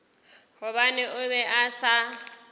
gobane o be a sa